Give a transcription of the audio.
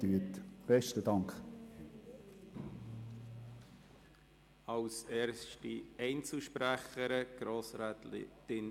Wir kommen zu den Einzelsprecherinnen und -sprechern.